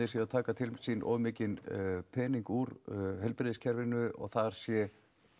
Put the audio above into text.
séu að taka til sín of mikinn pening úr heilbrigðiskerfinu og þar sé